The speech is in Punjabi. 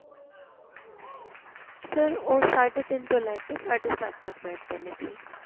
sir ਉਹ ਸਾਢੇ ਤਿੰਨ ਤੋਂ ਲੈਕੇ ਸਾਢੇ ਸੱਤ ਤੱਕ ਬੈਠ ਦੇ ਨੇ ਜੀ